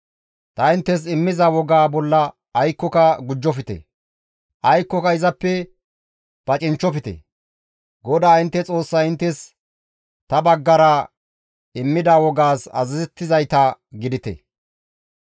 Ta inttes immiza wogaa bolla aykkoka gujjofte; aykkoka izappe pacinchchofte; GODAA intte Xoossay inttes ta baggara immida wogaas azazettizayta gidite.